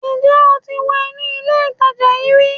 Ǹ jẹ́ o ti wọ inú ilé ìtajà yíì ri